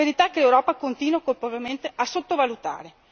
Una verità che l'Europa continua colpevolmente a sottovalutare.